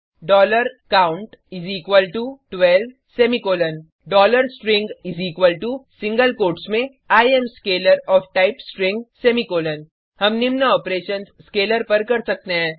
count 12 semicolon string single quotes में I AM scalar OF type string semicolon हम निम्न operations scalar पर कर सकते हैं